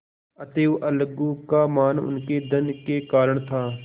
अतएव अलगू का मान उनके धन के कारण था